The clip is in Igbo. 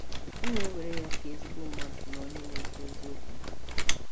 M na - ewere ya ka ezigbo mmadụ na onye na - ekwu eziokwu.